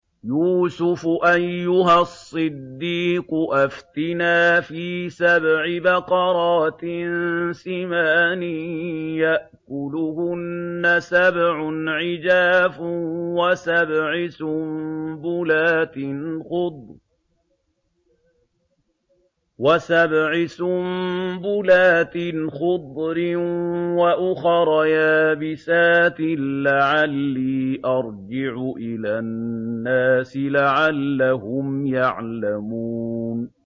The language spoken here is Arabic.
يُوسُفُ أَيُّهَا الصِّدِّيقُ أَفْتِنَا فِي سَبْعِ بَقَرَاتٍ سِمَانٍ يَأْكُلُهُنَّ سَبْعٌ عِجَافٌ وَسَبْعِ سُنبُلَاتٍ خُضْرٍ وَأُخَرَ يَابِسَاتٍ لَّعَلِّي أَرْجِعُ إِلَى النَّاسِ لَعَلَّهُمْ يَعْلَمُونَ